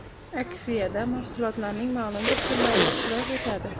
Aksiyada mahsulotlarning ma’lum bir turlari ishtirok etadi.